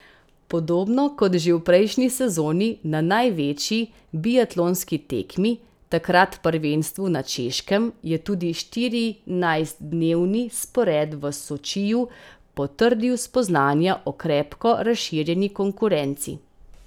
Podobno kot že v prejšnji sezoni na največji biatlonski tekmi, takrat prvenstvu na Češkem, je tudi štirinajstdnevni spored v Sočiju potrdil spoznanja o krepko razširjeni konkurenci.